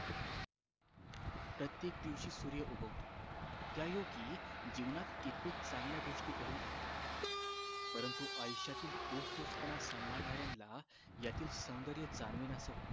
प्रत्येक दिवशी सूर्य उगवतो त्या योगी जीवनात कित्येक चांगल्या गोष्टी घडून येतात परंतु आयुष्यातील तोच तोच पणा संभाळणाऱ्याना यातील सौदर्य जाणवेनासे होत